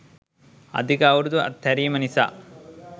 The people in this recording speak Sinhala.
අධික අවුරුදු අත්හැරීම නිසා